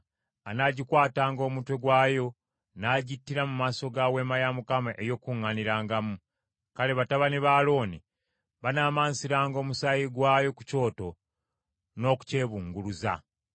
anaagikwatanga omutwe gwayo, n’agittira mu maaso ga Weema ey’Okukuŋŋaanirangamu. Kale batabani ba Alooni banaamansiranga omusaayi gwayo ku kyoto n’okukyebunguluza.